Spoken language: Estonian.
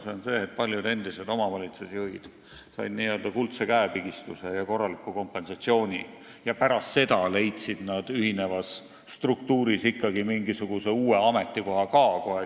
See on see, et paljud endised omavalitsusjuhid said n-ö kuldse käepigistuse ja korraliku kompensatsiooni ning leidsid pärast seda ühinevas struktuuris ikkagi kiiresti mingisuguse uue ametikoha.